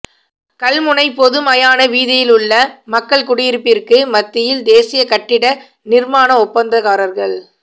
கல்முனை பொது மயான வீதியிலுள்ள மக்கள் குடியிருப்பிற்கு மத்தியில் தேசிய கட்டிட நிர்மாண ஒப்பந்தக்காரர்க